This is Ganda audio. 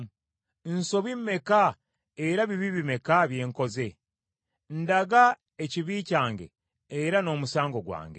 Nsobi meka era bibi bimeka bye nkoze? Ndaga ekibi kyange era n’omusango gwange.